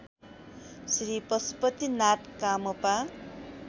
Shri Pashupatinath कामपा